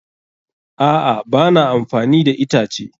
A'a, ba na amfani da itace.